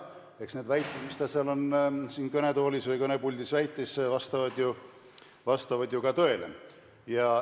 Eks need väited, mis ta siin kõnetoolis või kõnepuldis esitas, vastavad ju tõele.